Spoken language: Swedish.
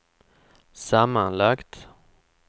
sammanlagt